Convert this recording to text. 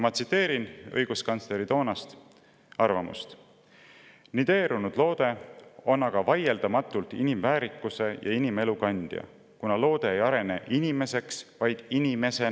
Ma tsiteerin õiguskantsleri toonast arvamust: "Nideerunud loode on aga vaieldamatult inimväärikuse ja inimelu kandja, kuna loode ei arene inimeseks, vaid inimesena.